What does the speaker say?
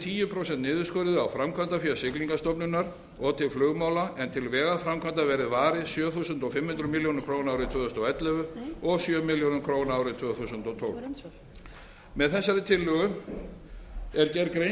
tíu prósent niðurskurði á framkvæmdafé siglingastofnunar og til flugmála en til vegaframkvæmda verði varið sjö þúsund fimm hundruð milljóna króna árið tvö þúsund og ellefu og sjö þúsund milljónir króna árið tvö þúsund og tólf með þessari tillögu er gerð grein